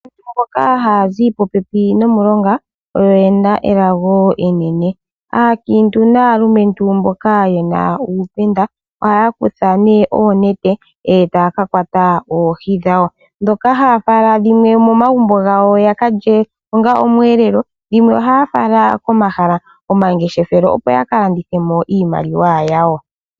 Mboka haya zi popepi nomilonga oyo oyena elago enene. Aakintu naalumentu mboka yena uupenda ohaya kutha nee oonete eta ya kakwata oohi dhawo. Dhoka haya fala dhimwe momagumbo gawo yakalye onga oshiyelelwa, dhimwe ohaya fala komahala gomangeshefelo opo yakalandithemo iimaliwa yawo.